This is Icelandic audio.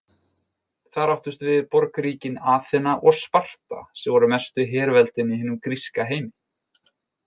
Þar áttust við borgríkin Aþena og Sparta sem voru mestu herveldin í hinum gríska heimi.